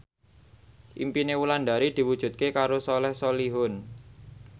impine Wulandari diwujudke karo Soleh Solihun